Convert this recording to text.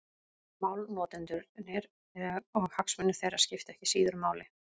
Málnotendurnir og hagsmunir þeirra skipta ekki síður máli.